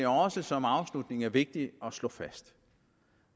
som afslutning er vigtigt at slå fast